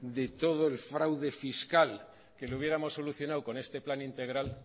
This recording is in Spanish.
de todo el fraude fiscal que le hubiéramos solucionado con este plan integral